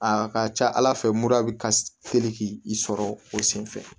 A ka ca ala fɛ mura bɛ ka teli k'i sɔrɔ o sen fɛ